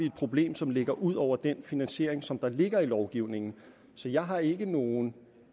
et problem som ligger ud over den finansiering som ligger i lovgivningen så jeg har ikke nogen